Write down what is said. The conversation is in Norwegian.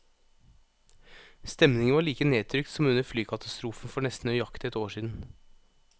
Stemningen var like nedtrykt som under flykatastrofen for nesten nøyaktig ett år siden.